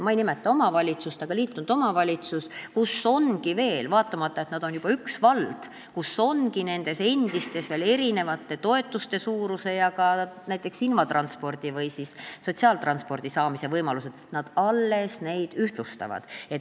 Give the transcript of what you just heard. Ma ei nimeta omavalitsust, aga see on liitunud omavalitsus, kus vaatamata sellele, et see on juba üks vald, ongi nendes endistes omavalitsustes veel erinevad toetuste suurused ja ka näiteks invatranspordi või sotsiaaltranspordi saamise võimalused, nad alles neid ühtlustavad.